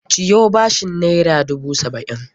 Ciyo bashin naira dubu saba'in!